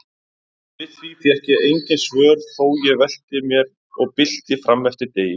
Við því fékk ég engin svör þó ég velti mér og bylti frameftir degi.